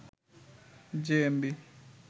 JMB